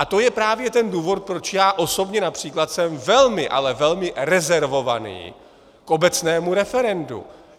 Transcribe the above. A to je právě ten důvod, proč já osobně například jsem velmi, ale velmi rezervovaný k obecnému referendu.